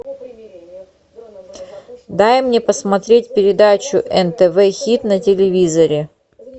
дай мне посмотреть передачу нтв хит на телевизоре